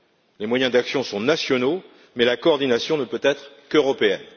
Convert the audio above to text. Les moyens d'action sont nationaux, mais la coordination ne peut être qu'européenne.